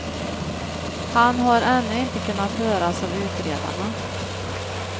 Han har ännu inte kunnat höras av utredarna.